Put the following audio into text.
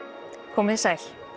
komiði sæl